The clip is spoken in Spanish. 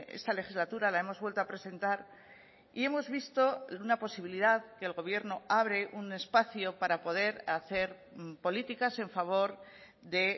esta legislatura la hemos vuelto a presentar y hemos visto una posibilidad que el gobierno abre un espacio para poder hacer políticas en favor de